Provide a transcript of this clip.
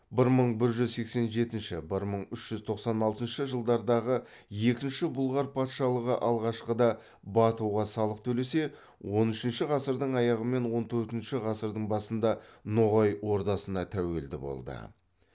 бір мың бір жүз сексен жетінші бір мың үш жүз тоқсан алтыншы жылдардағы екінші бұлғар патшалығы алғашқыда батуға салық төлесе он үшінші ғасырдың аяғы мен он төртінші ғасырдың басында ноғай ордасына тәуелді болды